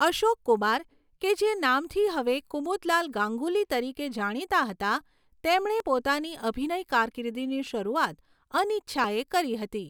અશોક કુમાર, કે જે નામથી હવે કુમુદલાલ ગાંગુલી તરીકે જાણીતા હતા, તેમણે પોતાની અભિનય કારકીર્દિની શરૂઆત અનિચ્છાએ કરી હતી.